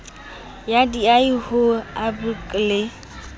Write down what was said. ya diahi ho nhbrc le